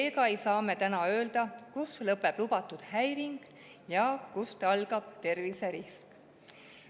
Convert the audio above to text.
Seega ei saa me öelda, kus lõpeb lubatud häiring ja kus algab terviserisk.